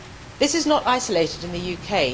This is not isolated to the UK.